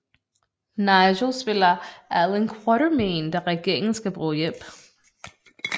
Nigel spiller Allan Quatermain da regeringen skal bruge hjælp